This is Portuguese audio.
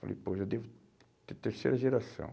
Falei, pô, já devo ter terceira geração.